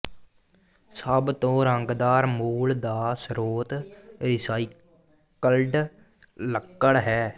ਸਭ ਤੋਂ ਰੰਗਦਾਰ ਮੂਲ ਦਾ ਸਰੋਤ ਰੀਸਾਈਕਲਡ ਲੱਕੜ ਹੈ